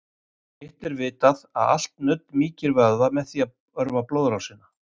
Hitt er vitað að allt nudd mýkir vöðva með því að örva blóðrásina.